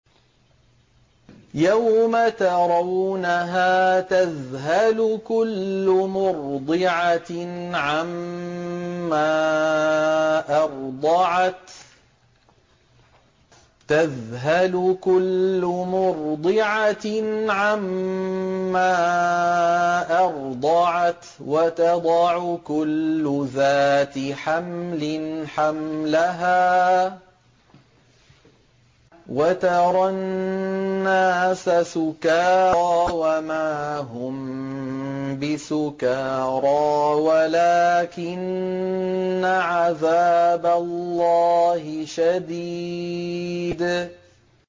يَوْمَ تَرَوْنَهَا تَذْهَلُ كُلُّ مُرْضِعَةٍ عَمَّا أَرْضَعَتْ وَتَضَعُ كُلُّ ذَاتِ حَمْلٍ حَمْلَهَا وَتَرَى النَّاسَ سُكَارَىٰ وَمَا هُم بِسُكَارَىٰ وَلَٰكِنَّ عَذَابَ اللَّهِ شَدِيدٌ